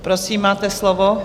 Prosím, máte slovo.